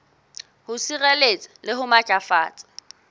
ho sireletsa le ho matlafatsa